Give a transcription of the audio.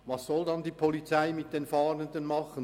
Was soll die Polizei mit den Fahrenden machen?